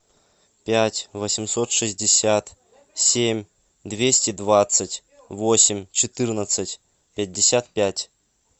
пять восемьсот шестьдесят семь двести двадцать восемь четырнадцать пятьдесят пять